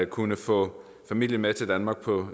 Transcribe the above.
kunne få familien med til danmark på